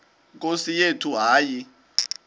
nkosi yethu hayi